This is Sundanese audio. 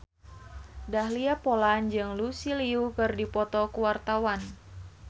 Dahlia Poland jeung Lucy Liu keur dipoto ku wartawan